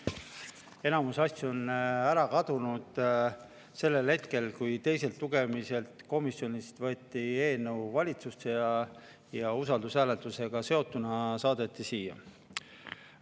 Enamus asju on ära kadunud sellel hetkel, kui komisjonist võeti eelnõu teist lugemist valitsusse tagasi ja usaldushääletusega seotuna saadeti uuesti siia.